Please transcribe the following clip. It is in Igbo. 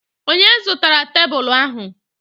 Onye zụtara tebụlụ ahụ?